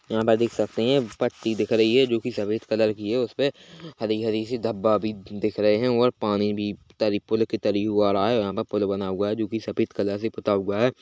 यहाँ पे देख सकते है पत्ती दिख रही है जोकि सफेद कलर की है उस पे हरी - हरी - सी धब्बा भी दिख रहे है और पानी भी तरी पूल के तरी उवाड़ा है यहाँ पे पूल बना हुआ है जोकि सफेद कलर से पुता हुआ हैं।